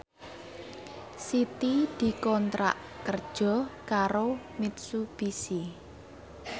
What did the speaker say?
Siti dikontrak kerja karo Mitsubishi